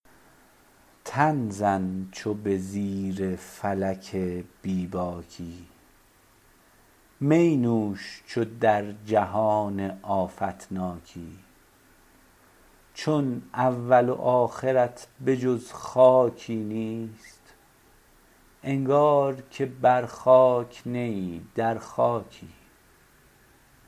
تن زن چو به زیر فلک بی باکی می نوش چو در جهان آفت ناکی چون اول و آخرت به جز خاکی نیست انگار که بر خاک نه ای در خاکی